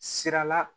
Sira la